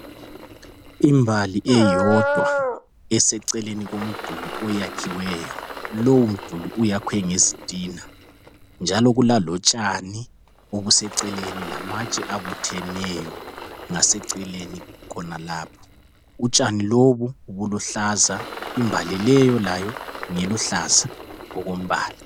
Imbali eyodwa eseceleni komduli, oyakhiweyo. Lowomduli uyakhwe ngezitina, njalo kulalotshani obuseceleni. Lamatshe abutheneyo, ngaseceleni khonalapho. Utshani lobo, buluhlaza. Imbali leyo, layo, ngeluhlaza okombala.